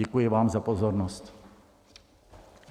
Děkuji vám za pozornost.